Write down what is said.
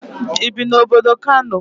Ibi na obodo Kano?